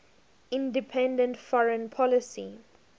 independent foreign policy